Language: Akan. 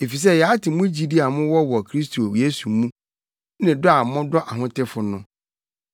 Efisɛ yɛate mo gyidi a mowɔ wɔ Kristo Yesu mu, ne dɔ a modɔ ahotefo no.